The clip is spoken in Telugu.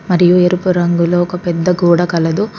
మరియు ఎరుపు రంగులో ఒక పెద్ద గోడ కలదు.